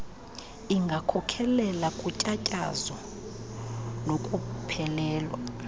ingakhokhelela kutyatyazo nokuphelelwa